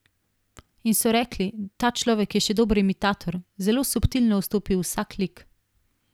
In so rekli, ta človek je še dober imitator, zelo subtilno vstopi v vsak lik.